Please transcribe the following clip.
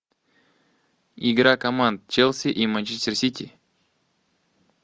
игра команд челси и манчестер сити